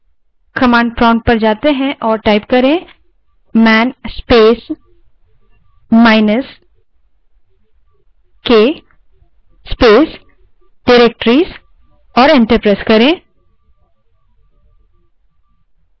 तो हम command prompt पर जा सकते हैं और man space minus k space directories type करें और enter दबायें